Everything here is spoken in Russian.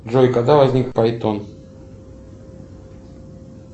джой когда возник пайтон